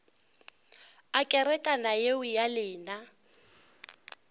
a kerekana yeo ya lena